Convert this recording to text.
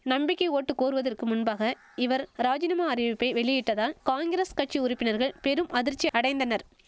நம்பிக்கை ஓட்டு கோருவதற்கு முன்பாக இவர் ராஜினாமா அறிவிப்பை வெளியிட்டதால் காங்கிரஸ் கட்சி உறுப்பினர்கள் பெரும் அதிர்ச்சி அடைந்தனர்